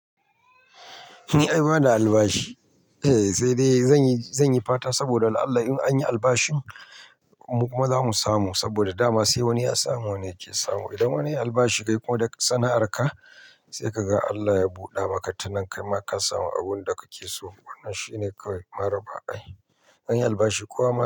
Ni ai bana albashi? Eh sai dai zan yi, zan yi fata saboda Allah. In anyi albashin kuma za mu samu saboda dama sai wani ya samu, wani yake samu. Idan wani ya yi albashi kai kuma da sana'ar ka sai ka ga Allah ya buɗe maka tana kai ma ka samu abun da kake so. Wannan shine kawai maraba. Anyi albashi kuwa.